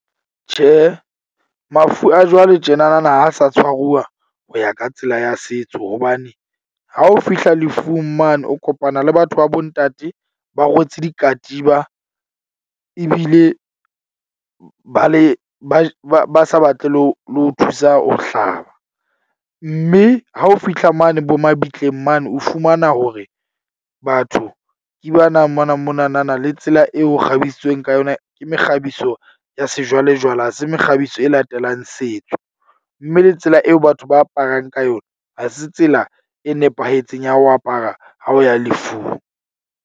Tjhe, mafu a jwale tjena na na ha sa tshwaruwa ho ya ka tsela ya setso. Hobane ha o fihla lefung mane o kopana le batho ba bo ntate. Ba rwetse dikatiba ebile ba le ba ba sa batle le ho thusa ho hlaba. Mme ha o fihla mane bo mabitleng mane, o fumana hore batho ke ba nang mona mona na na le tsela eo ho kgabisitsweng ka yona ke mekgabiso ya sejwalejwale. Ha se mekgabiso e latelang setso, mme le tsela eo batho ba aparang ka yona ha se tsela e nepahetseng ya ho apara. Ha o ya lefung.